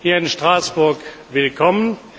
hier in Straßburg willkommen.